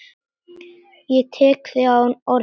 Ég tek þig á orðinu!